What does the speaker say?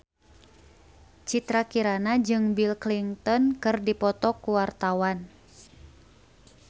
Citra Kirana jeung Bill Clinton keur dipoto ku wartawan